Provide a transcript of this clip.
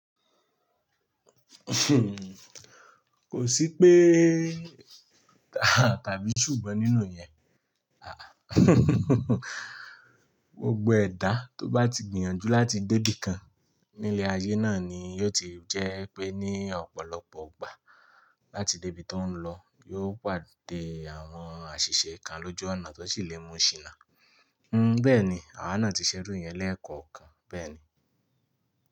Kò sí pé tàbí ṣùgbọ́n nínú iyẹn. Gbogbo ẹ̀dà tó bá ti gbìyànjú láti dé ibìkan ní ilé ayé náà ni yóò ti jẹ́ pé ní ọ̀pọ̀lọpọ̀ ìgbà láti dé ibi tó ń lọ, yóò pàdé àwọn àṣìṣe kan lójú ọ̀nà tó sì lè mú ṣìnà. Hmm, bẹ́ẹ̀ni àwọn náà ti ṣe iru yẹn lẹ́ẹ̀kọ̀ọ̀kan. Bẹ́ẹ̀ni.